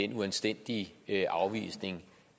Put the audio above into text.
den uanstændige afvisning